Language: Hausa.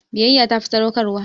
Biyyya ta fi sadaukarwa.